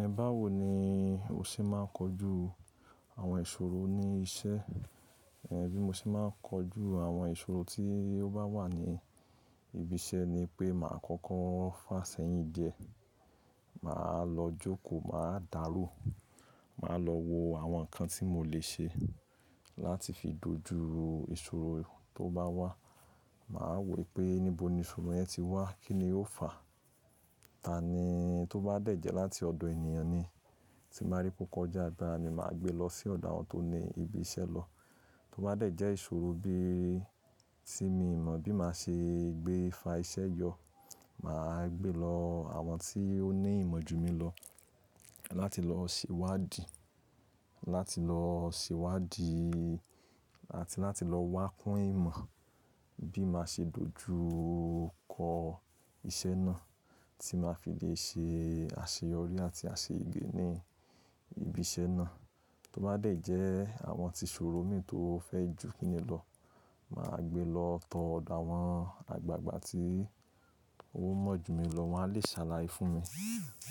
Ẹ bá wò ní o ṣe ma n kojú àwọn ìṣòro ní iṣẹ́? Ẹ bí mo ṣe ma n kojú àwọn ìṣòro tí ó bá wà ní ibi iṣẹ́ ni pé màá kọ́kọ́ fàsẹ́yìn díẹ̀. Màá lọ jókòó, màá dàro, màá lọ wo àwọn nǹkan tí mo lè ṣe láti fi dojú ìṣòro tó bá wà. Màá wò pé níbo ni ìṣòro yẹn ti wá? Kí ni ó fà? Tani tó bá dẹ̀ jẹ́ láti ọ̀dọ̀ ènìyàn ni, tí mo bá rí pé o kòjà agbara mi, màá gbé lọ sí ọ̀dọ̀ àwọn tó ní ibi iṣẹ́ lọ. Tó bá dẹ̀ jẹ́ ìṣòro bí tí mi ò mọ̀ bí màá ṣe gbé fa iṣẹ́ yọ, màá gbé lọ àwọn tí ó ní ìmọ̀ jùmí lọ láti lọ ṣewádii, láti lọ ṣewadì àti láti lọ wá kún ìmọ̀ bí màá ṣe dojú kọ iṣẹ́ náà tí màá fi lè ṣe àṣeyọrí àti àṣeyé ní ibi iṣẹ́ náà. Tó bá dẹ̀ jẹ́ àwọn tí ìṣòro mi tó fẹ́ jù kí ni lọ, màá gbé lọ tọ ọ̀dọ̀ àwọn àgbàgbà tí o mọ̀ jù mí lọ, wọ́n á lè ṣàlàyé fún mi.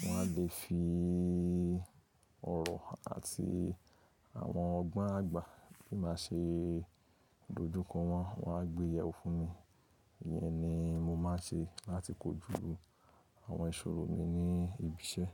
Wọ́n á lè fi ọ̀rọ̀ àti àwọn ọgbọ́n àgbà bí màá ṣe dojú kọ wọ́n, wọ́n á gbé yẹ̀wo fún mi. Ìyẹn ni mo máa ń ṣe láti kojú àwọn ìṣòro mi ní ibi iṣẹ́.